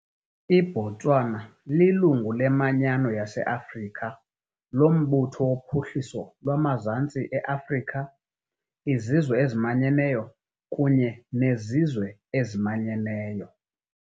IBotswana lilungu leManyano yase- Afrika, loMbutho woPhuhliso lwamaZantsi e-Afrika, iZizwe eziManyeneyo kunye neZizwe eziManyeneyo .